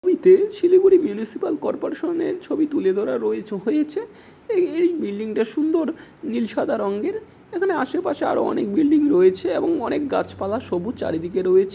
ছবিতে Siliguri municipal corporation -এর ছবি তুলে ধরা রয়ে- হয়েছে। এই বিল্ডিং -টা সুন্দর নীল সাদা রঙের। এখানে আশেপাশে আরো অনেক বিল্ডিং রয়েছে এবং অনেক গাছপালা সবুজ চারিদিকে রয়েছে ।